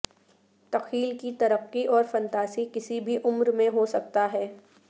تخیل کی ترقی اور فنتاسی کسی بھی عمر میں ہو سکتا ہے